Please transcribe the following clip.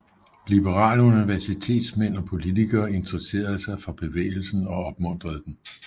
Liberale universitetsmænd og politikere intresserede sig for bevægelsen og opmuntrede den